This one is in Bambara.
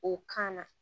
O kan na